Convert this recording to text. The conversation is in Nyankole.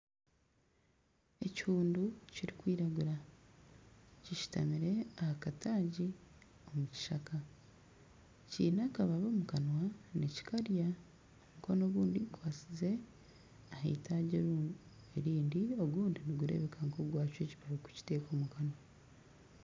Ekihundu kirikwiragura kishutamire aha kataagi omu kishaka kiine akababi omu kanwa nikikarya omukono ogundi gukwatsize ah'eitagi erindi ogundi nigureebeka nk'ogwacwa ekibabi kukita omukanwa.